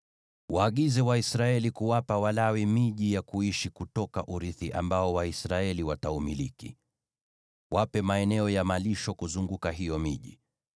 “Waagize Waisraeli kuwapa Walawi miji ya kuishi kutoka urithi ambao Waisraeli wataumiliki. Wape maeneo ya malisho kuzunguka hiyo miji.